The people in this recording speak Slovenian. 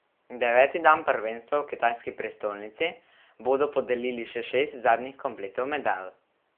Deveti dan prvenstva v kitajski prestolnici bodo podelili še šest zadnjih kompletov medalj.